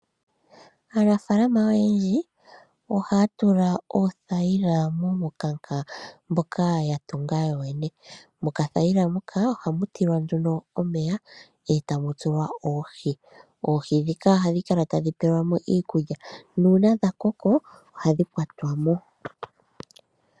Aanafaalama oyendji ohaya tula oothaila muumukanka mboka ya tunga yoyene. Mokathaila muka ohamu tulwa nduno omeya, e tamu tulwa oohi. Oohi ndhika ohadhi kala tadhi pelwa mo iikulya nuuna dha koko ohadhi kwatwa mo.